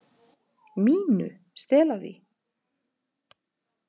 MÍNU. Stela því?